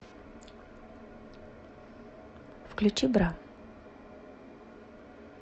включи бра